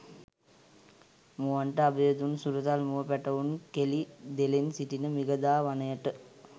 මුවන්ට අභය දුන් සුරතල් මුව පැටවුන් කෙළි දෙලෙන් සිටින මිගදා වනයටය.